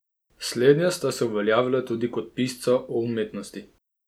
Slednja sta se uveljavila tudi kot pisca o umetnosti.